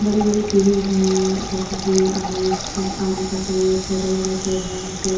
बड़े-बड़े पेड़ हैं जैसे की आम्स का आम का पेड़ छोटे-बड़े पेड़ हैं आम के।